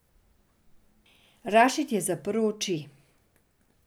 Rašid je zaprl oči.